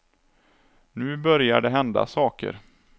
Nu börjar det hända saker.